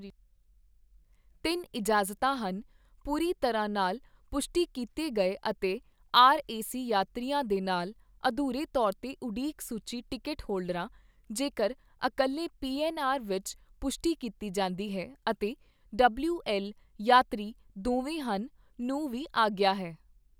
ਤਿੰਨ ਇਜਾਜ਼ਤਾਂ ਹਨ- ਪੂਰੀ ਤਰਾਂ ਨਾਲ ਪੁਸ਼ਟੀ ਕੀਤੀ ਗਏ ਅਤੇ ਆਰ ਏ ਸੀ ਯਾਤਰੀਆਂ ਦੇ ਨਾਲ, ਅਧੂਰੇ ਤੌਰ ਤੇ ਉਡੀਕ ਸੂਚੀ ਟਿਕਟ ਹੋਲਡਰਾਂ, ਜੇਕਰ ਇੱਕਲੇ ਪੀ ਐੱਨ ਆਰ ਵਿੱਚ ਪੁਸ਼ਟੀ ਕੀਤੀ ਜਾਂਦੀ ਹੈ ਅਤੇ ਡਬਲਿਊਐੱਲ ਯਾਤਰੀ ਦੋਵੇਂ ਹਨ, ਨੂੰ ਵੀ ਆਗਿਆ ਹੈ।